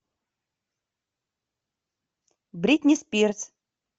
бритни спирс